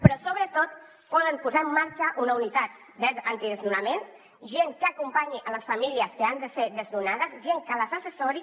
però sobretot poden posar en marxa una unitat antidesnonaments gent que acompanyi les famílies que han de ser desnonades gent que les assessori